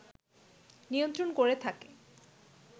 নিয়ন্ত্রণ করে থাকে